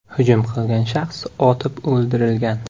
Hujum qilgan shaxs otib o‘ldirilgan .